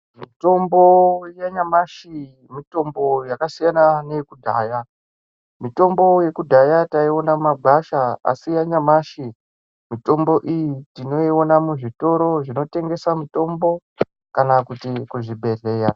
Mitombo yanyamashi mitombo yakasiyana neyekudhaya . Mitombo yekudhaya taiwana mumagwasha asi yanyamashi mitombo iyi tinoiwana muzvitoro zvinotengesa mitombo kana kuzvibhedhleya.